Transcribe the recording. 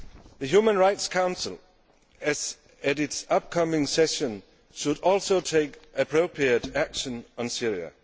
The Human Rights Council at its upcoming session should also take appropriate action on Syria.